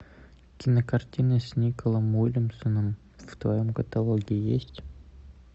кинокартины с николом уильямсоном в твоем каталоге есть